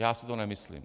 Já si to nemyslím.